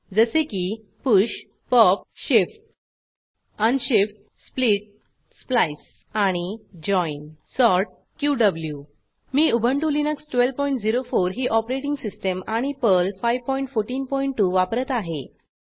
जसे की push pop shift unshift split splice आणि जॉइन सॉर्ट क्यू मी उबंटु लिनक्स 1204 ही ऑपरेटिंग सिस्टीम आणि पर्ल 5142 वापरत आहे